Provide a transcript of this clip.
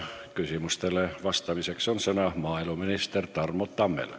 Küsimustele vastamiseks annan sõna maaeluminister Tarmo Tammele.